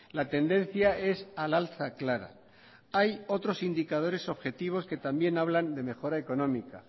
la tendencia es al alza clara hay otros indicadores objetivos que también hablan de mejora económica